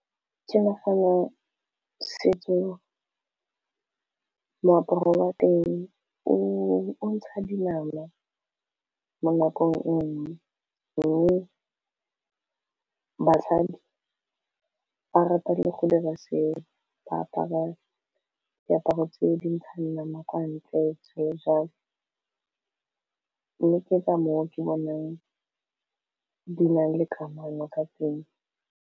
Ke nagana setso moaparo wa teng o ntsha dinama mo nakong nngwe mme batlhami ba rata le gore ba se ba apara diaparo tse dintshang nama kwa ntle di ntseng jalo mme ke ka moo ke bonang di nale kamano ka teng.